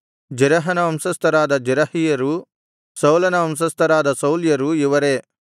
ಜೆರಹನ ವಂಶಸ್ಥರಾದ ಜೆರಹಿಯರು ಸೌಲನ ವಂಶಸ್ಥರಾದ ಸೌಲ್ಯರು ಇವರೇ